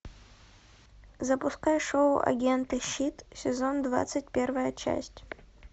запускай шоу агенты щит сезон двадцать первая часть